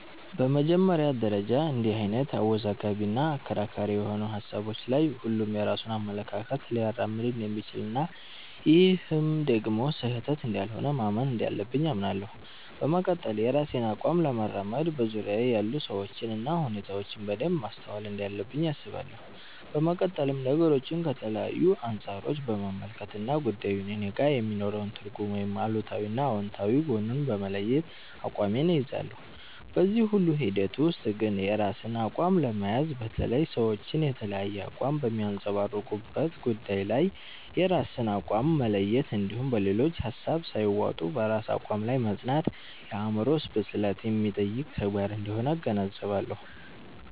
በመጀመሪያ ደረጃ እንድህ አይነት አወዛጋቢ እና አከራካሪ የሆኑ ሀሳቦች ላይ ሁሉም የራሱን አመለካከት ሊያራምድ እንደሚችል እና ይህም ደግሞ ስህተት እንዳልሆነ ማመን እንዳለብኝ አምናለሁ። በመቀጠል የራሴን አቋም ለማራመድ በዙርያየ ያሉ ሰዎችን እና ሁኔታዎችን በደንብ ማስተዋል እንዳለብኝ አስባለሁ። በመቀጠልም ነገሮችን ከተለያዩ አንፃሮች በመመልከት እና ጉዳዩ እኔጋ የሚኖረውን ትርጉም ወይም አሉታዊ እና አውንታዊ ጎኑን በመለየት አቋሜን እይዛለሁ። በዚህ ሁሉ ሂደት ውስጥ ግን የራስን አቋም ለመያዝ፣ በተለይ ሰዎች የተለያየ አቋም በሚያንፀባርቁበት ጉዳይ ላይ የራስን አቋም መለየት እንድሁም በሌሎች ሀሳብ ሳይዋጡ በራስ አቋም ላይ መፅናት የአዕምሮ ብስለት የሚጠይቅ ተግባር አንደሆነ እገነዘባለሁ።